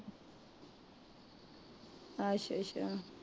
ਅੱਛਾ